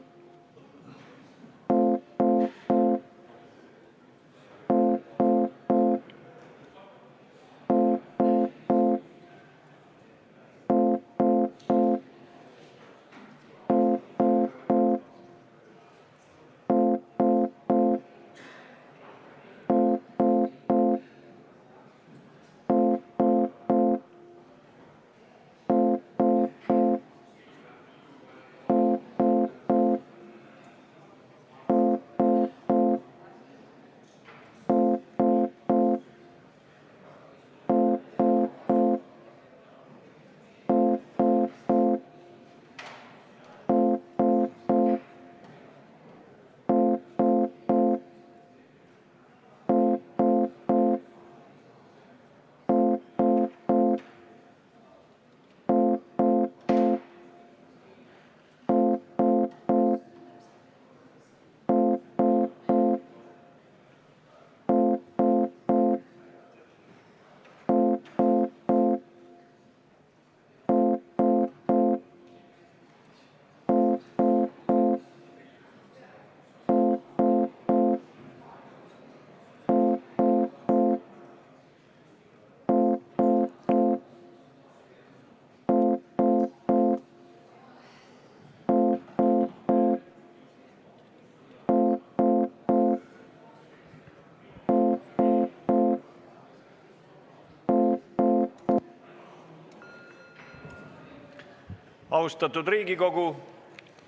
Austatud Riigikogu!